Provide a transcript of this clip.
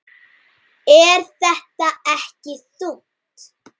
Er þetta ekki þungt?